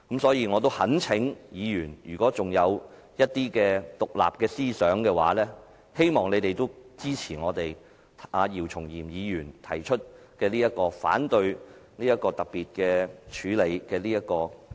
所以，我懇請議員——如果尚有獨立思考的話——希望你們也支持我們姚松炎議員提出反對這項議案的處理。